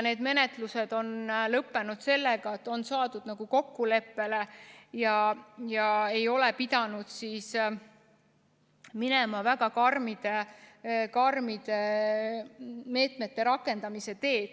Need menetlused on lõppenud sellega, et on saadud kokkuleppele ja ei ole pidanud minema väga karmide meetmete rakendamise teed.